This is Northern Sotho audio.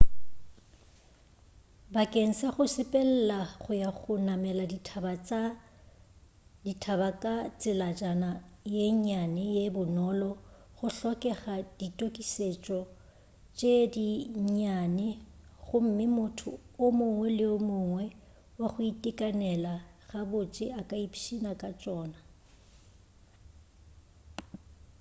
bakeng sa go sepelela go ya go namela dithaba ka tselajana ye nnyane ye bonolo go hlokega ditokišetšo tše di nnyane gomme motho o mongwe le o mongwe wa go itekanela ga botse a ka ipšhina ka tšona